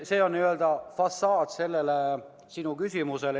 See on n-ö tagaplaan sinu küsimusele.